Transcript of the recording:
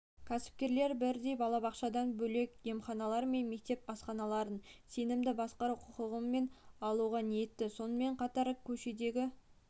кәсіпкерлер бірдей балабақшадан бөлек емханалар мен мектеп асханаларын сенімді басқару құқығымен алуға ниетті сонымен қатар көшедегі